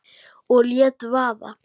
Og lét vaða.